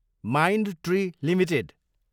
Mindtree Ltd